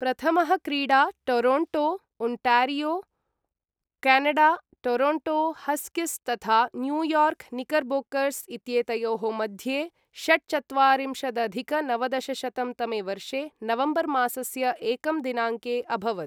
प्रथमः क्रीडा Toronto, Ontario, Canada, Toronto Huskies तथा न्यूयॉर्क निकरबोकर्स् इत्येतयोः मध्ये षट्चत्वारिंशदधिक नवदशशतं तमे वर्षे नवम्बरमासस्य एकं दिनाङ्के अभवत् ।